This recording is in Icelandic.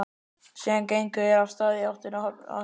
Síðan gengu þeir af stað í áttina að höfninni.